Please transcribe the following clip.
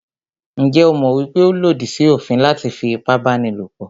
Njẹ́ o mọ̀ wípé ó lòdì sí òfin láti fí ipábánilòpọ̀?